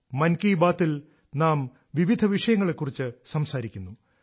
മൻ കി ബാത്തിൽ നാം വിവിധ വിഷയങ്ങളെക്കുറിച്ച് സംസാരിക്കുന്നു